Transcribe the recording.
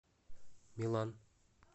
милан